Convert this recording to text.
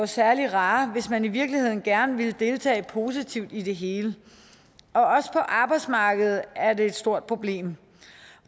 særlig rare hvis man i virkeligheden gerne ville deltage positivt i det hele også på arbejdsmarkedet er det et stort problem